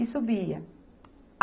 E subia.